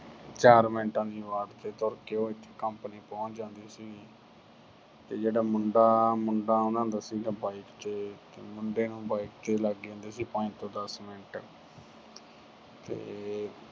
ਚਾਰ ਮਿੰਟਾਂ ਦੀ ਵਾਟ ਤੇ ਤੁਰ ਕੇ ਉਹ ਇੱਥੇ company ਪਹੁੰਚ ਜਾਂਦੀ ਸੀਗੀ। ਤੇ ਜਿਹੜਾ ਮੁੰਡਾ, ਮੁੰਡਾ ਆਉਂਦਾ ਸੀ bike ਤੇ, ਮੁੰਡੇ ਨੂੰ bike ਤੇ ਲੱਗ ਜਾਂਦੇ ਸੀ ਪੰਜ ਤੋਂ ਦਸ ਮਿੰਟ ਤੇ